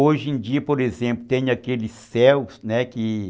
Hoje em dia, por exemplo, tem aqueles céus, né? Que